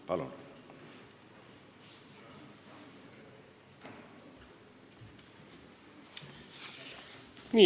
Palun!